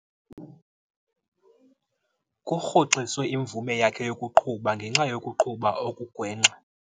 Kurhoxiswe imvume yakhe yokuqhuba ngenxa yokuqhuba okugwenxa.